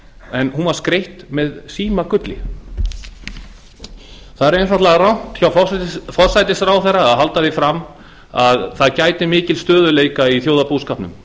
en hún var skreytt með símagulli það er einfaldlega rangt hjá forsætisráðherra að halda því fram að það gæti mikils stöðugleika í þjóðarbúskapnum